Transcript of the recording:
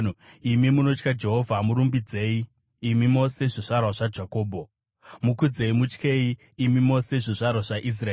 Imi munotya Jehovha, murumbidzei! Imi mose zvizvarwa zvaJakobho, mukudzei! Mutyei, imi mose zvizvarwa zvaIsraeri!